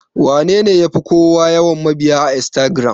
Wanene yafi kowa yawan mabiya a Instagiram?